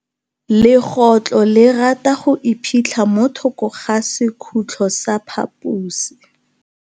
Legôtlô le rata go iphitlha mo thokô ga sekhutlo sa phaposi.